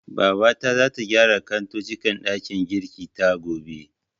Babata zata gyara kantocin ɗakin girkin ta, gobe.